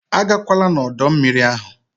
Agakwala n'ọdọ mmiri ahụ!